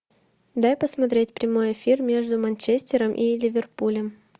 дай посмотреть прямой эфир между манчестером и ливерпулем